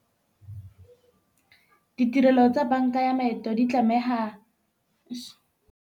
Ditirelo tsa banka ya maeto di tlameha.